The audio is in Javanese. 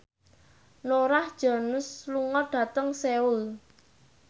Norah Jones lunga dhateng Seoul